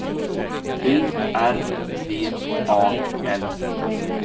U R V A L